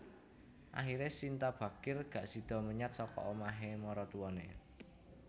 Akhire Shinta Bachir gak sido menyat saka omah e maratuwane